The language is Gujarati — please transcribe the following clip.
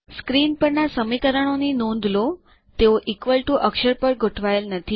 સ્ક્રીન પરના સમીકરણોની નોંધ લો તેઓ ઇક્વલ ટીઓ અક્ષર પર ગોઠવાયેલ નથી